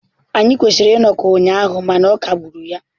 Anyị kwesịrị ịnọkọ ụnyaahụ mana ọ kagburu ya.